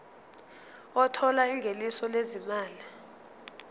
othola ingeniso lezimali